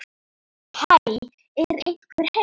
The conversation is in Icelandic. Hæ, er einhver heima?